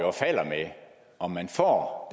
og falder med om man får